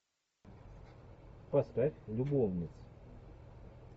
поставь любовниц